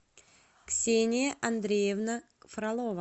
ксения андреевна фролова